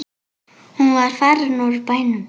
Hún var farin úr bænum.